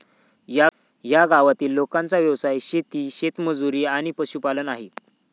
या गावातील लोकांचा व्यवसाय शेती, शेतमजुरी आणि पशुपालन आहे.